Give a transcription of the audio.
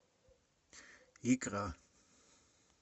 икра